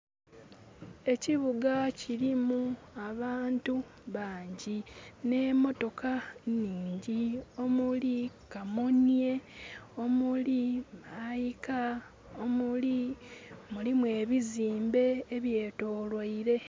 Ekibuga kilimu abantu bangi nhe motoka nnhingi, omuli kamunye, omuli my car, omuli...Mulimu ebizimbe ebyetoloire.